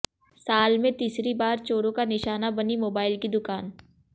साल में तीसरी बार चोरों का निशाना बनी मोबाइल की दुकान